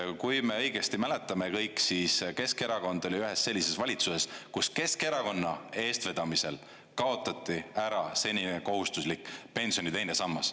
Kui me õigesti mäletame kõik, siis Keskerakond oli ühes sellises valitsuses, kus Keskerakonna eestvedamisel kaotati ära senine kohustuslik pensioni teine sammas.